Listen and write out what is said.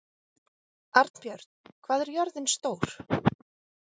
Arnbjörn, hvað er jörðin stór?